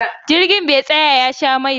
Jirgin be tsaya ya sha mai ba